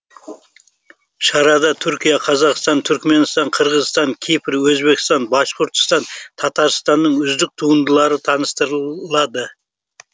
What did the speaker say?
шарада түркия қазақстан түрікменстан қырғызстан кипр өзбекстан башқұртстан татарстанның үздік туындылары таныстырылады